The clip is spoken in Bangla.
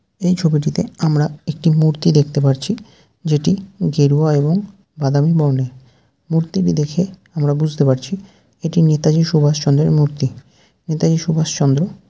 এই ছবিটিতে আমরা একটি মূর্তি দেখতে পারছি যেটি গেরুয়া এবং বাদামী বর্ণের। মূর্তিটি দেখে আমরা বুঝতে পারছি এটি নেতাজি সুভাষচন্দ্রের মূর্তি। নেতাজি সুভাষচন্দ্র।